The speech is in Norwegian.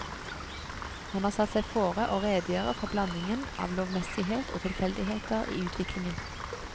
Han har satt seg fore å redegjøre for blandingen av lovmessighet og tilfeldigheter i utviklingen.